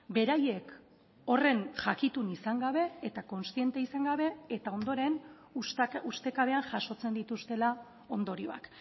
beraiek horren jakitun izan gabe eta kontziente izan gabe eta ondoren ustekabean jasotzen dituztela ondorioak